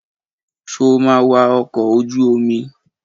Sọ ma wa ọkọ̀ ojú omi?